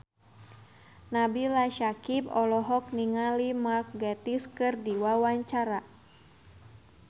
Nabila Syakieb olohok ningali Mark Gatiss keur diwawancara